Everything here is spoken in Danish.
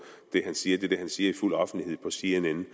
han siger er det han siger i fuld offentlighed på cnn